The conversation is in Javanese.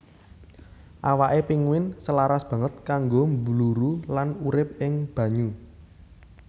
Awaké pinguin selaras banget kanggo mbluru lan urip ing banyu